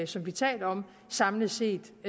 som vi taler om samlet set